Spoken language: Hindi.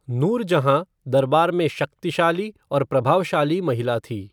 नूरजहाँ दरबार में शक्तिशाली और प्रभावशाली महिला थी।